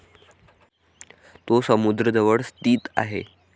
तो समुद्र जवळ स्थित आहे.